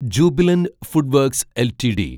Jubilant Food Works LTD